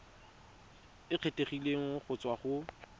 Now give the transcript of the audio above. e kgethegileng go tswa go